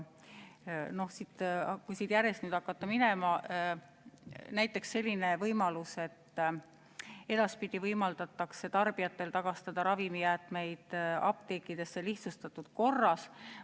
Kui siit järjest minema hakata, siis näiteks selline võimalus, et edaspidi võimaldatakse tarbijatel tagastada ravimijäätmeid apteekidesse lihtsustatud korras.